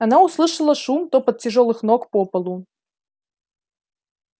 она услышала шум топот тяжёлых ног по полу